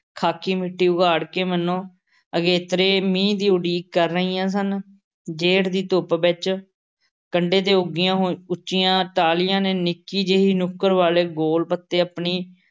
ਖ਼ਾਕੀ ਮਿੱਟੀ ਉਘਾੜ ਕੇ ਮਾਨੋ ਅਗੇਤਰੇ ਮੀਂਹ ਦੀ ਉਡੀਕ ਕਰ ਰਹੀਆਂ ਸਨ। ਜੇਠ ਦੀ ਧੁੱਪ ਵਿੱਚ ਕੰਢੇ ਤੇ ਉੱਗੀਆਂ ਹੋਈ ਉੱਚੀਆਂ ਟਾਹਲੀਆਂ ਦੇ ਨਿੱਕੀ ਜਿਹੀ ਨੁੱਕਰ ਵਾਲ਼ੇ ਗੋਲ਼ ਪੱਤੇ ਆਪਣੀ